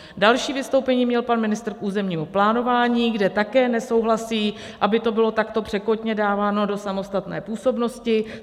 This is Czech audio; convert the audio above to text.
Další vystoupení měl pan ministr k územnímu plánování, kde také nesouhlasí, aby to bylo takto překotně dáváno do samostatné působnosti.